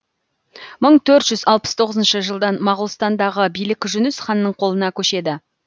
мың төрт жүз алпыс тоғызыншы жылдан моғолстандагы билік жүніс ханның колына көшеді